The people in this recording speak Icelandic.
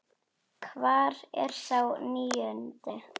Hvar er sá níundi?